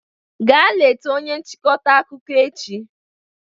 Gaa leta onye nchịkọta akụkọ echi